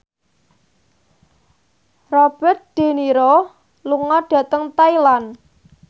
Robert de Niro lunga dhateng Thailand